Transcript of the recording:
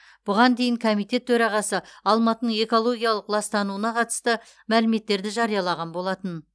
бұған дейін комитет төрағасы алматының экологиялық ластануына қатысты мәліметтерді жариялаған болатын